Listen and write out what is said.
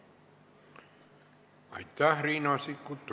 Aitäh, Riina Sikkut!